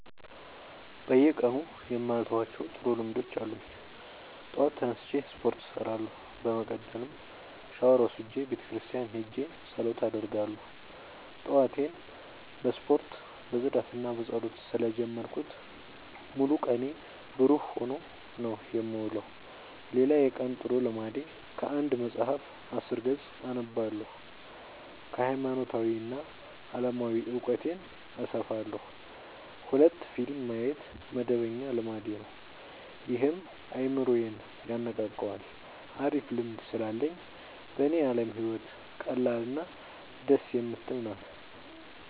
በየቀኑ የማልተዋቸው ጥሩ ልምዶች አሉኝ ጠዋት ተነስቼ ስፓርት እሰራለሁ። በመቀጠልም ሻውር ወስጄ ቤተክርስቲያን ሄጄ ፀሎት አደርጋለሁ ጠዋቴን በዚህ መልኩ ነው የምጀምረው። ጠዋቴን በስፖርት በፅዳትና በፀሎት ስለ ጀመርኩት ሙሉ ቀኔ ብሩህ ሆኖ ነው የምውለው። ሌላ የቀን ጥሩ ልምዴ ከአንድ መፀሀፍ አስር ገፅ አነባለሁ ሀይማኖታዊ እና አለማዊ እውቀቴን አሰፋለሁ። ሁለት ፊልም ማየት መደበኛ ልማዴ ነው ይህም አይምሮዬን የነቃቃዋል አሪፍ ልምድ ስላለኝ በኔ አለም ህይወት ቀላል እና ደስ የምትል ናት።